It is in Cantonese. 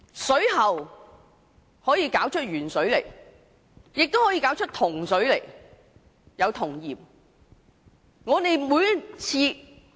水喉不單會流出鉛水，亦會流出銅水，還有銅鹽。